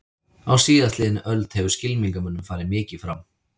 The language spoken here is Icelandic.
Á síðastliðinni öld hefur skylmingamönnum farið mikið fram.